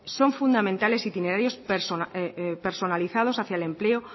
son fundamentales itinerarios personalizados hacia el empleo